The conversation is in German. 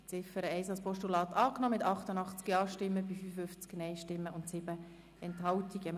Sie haben die Ziffer 1 als Postulat angenommen mit 88 Ja- zu 55 Nein-Stimmen bei 7 Enthaltungen.